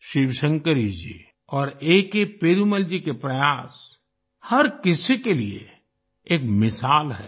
शिवशंकरी जी और A K Perumal ji के प्रयास हर किसी के लिए एक मिसाल हैं